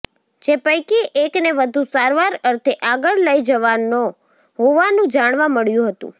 જે પૈકી એકને વધુ સારવાર અર્થે આગળ લઇ જવાયો હોવાનું જાણવા મળ્યું હતું